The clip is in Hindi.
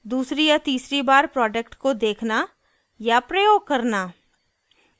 दूसरी या तीसरी बार प्रोडक्ट को देखना या प्रयोग करना